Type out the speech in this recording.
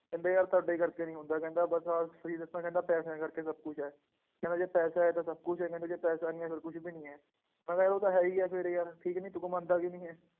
ਕਹਿੰਦੇ ਯਾਰ ਤੁਹਾਡੇ ਕਰਕੇ ਨੀ ਹੁੰਦਾ ਕਹਿੰਦਾ ਬਸ ਆਹ ਸਹੀ ਦੱਸਾਂ ਕਹਿੰਦਾ ਪੈਸਿਆਂ ਕਰਕੇ ਸਭ ਕੁਛ ਹੈ, ਕਹਿੰਦਾ ਜੇ ਪੈਸਾ ਹੈ ਤਾਂ ਸਭ ਕੁਛ ਹੈ ਕਹਿੰਦੇ ਜੇ ਪੈਸਾ ਨੀ ਹੈ ਫਿਰ ਕੁਛ ਵੀ ਨੀ ਹੈ, ਮੈਂ ਕਿਹਾ ਯਾਰ ਉਹ ਤਾਂ ਹੈ ਹੀ ਹੈ ਫਿਰ ਯਾਰ ਠੀਕ ਨੀ ਤੂੰ ਮੰਨਦਾ ਕਿਉਂ ਨੀ ਹੈ,